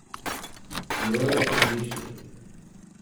Bilo je odlično!